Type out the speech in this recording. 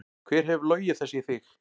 Hver hefur logið þessu í þig?